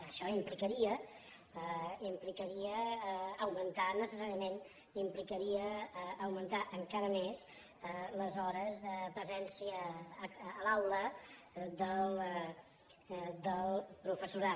això implicaria augmentar necessàriament implicaria augmentar encara més les hores de presència a l’aula del professorat